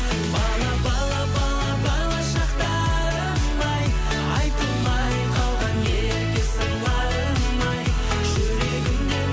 бала бала бала бала шақтарым ай айтылмай қалған ерке сырларым ай жүрегімде